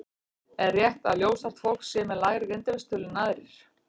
Er rétt að ljóshært fólk sé með lægri greindarvísitölu en aðrir?